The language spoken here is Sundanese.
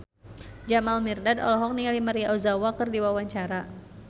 Jamal Mirdad olohok ningali Maria Ozawa keur diwawancara